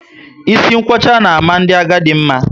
Isi nkwocha na ama ndị agadi mma